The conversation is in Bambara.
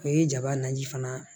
O ye jaba naji fana